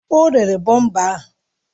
O rere bọmpa ahụ